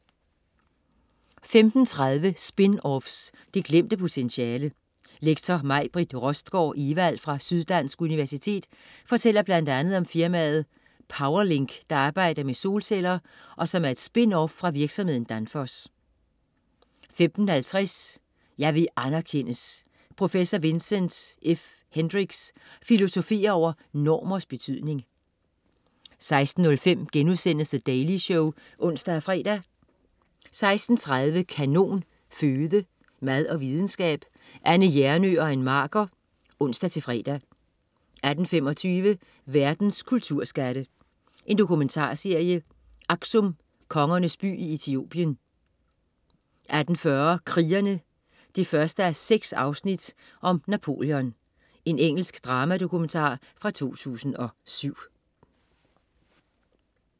15.30 Spin-offs, det glemte potentiale. Lektor Majbritt Rostgaard Evald fra Syddansk Universitet fortæller blandt andet om firmaet PowerLink, der arbejder med solceller, og som er et spin-off fra virksomheden Danfoss 15.50 Jeg vil anerkendes. Prof. Vincent F. Hendrics filosoferer over normers betydning 16.05 The Daily Show* (ons-fre) 16.30 Kanon Føde. Mad og videnskab. Anne Hjernøe og Ann Marker (ons-fre) 18.25 Verdens kulturskatte. Dokumentarserie. "Aksum, Kongernes by i Etiopien" 18.40 Krigere 1:6. Napoleon. Engelsk dramadokumentar fra 2007